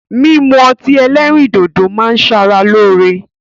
Mímu ọti ẹlẹ́rìndòdó ma ń ṣara loore.